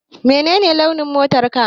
Menene launin motarka?